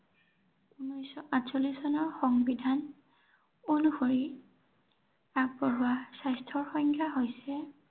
ঊনৈশশ আঠচল্লিশ চনৰ সংবিধান অনুসৰি আগবঢ়োৱা স্বাস্থ্যৰ সংখ্যা হৈছে